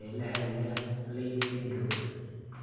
ee la xidhiidha Leigh syndrome?